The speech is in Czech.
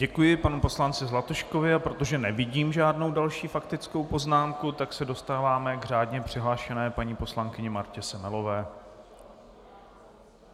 Děkuji panu poslanci Zlatuškovi, a protože nevidím žádnou další faktickou poznámku, tak se dostáváme k řádně přihlášené paní poslankyni Martě Semelové.